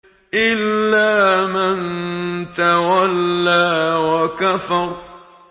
إِلَّا مَن تَوَلَّىٰ وَكَفَرَ